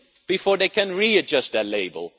before they can re adjust their label.